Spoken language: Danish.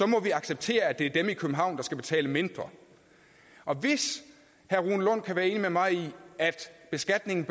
må vi acceptere at det er dem i københavn der skal betale mindre og hvis herre rune lund kan være enig med mig i at beskatning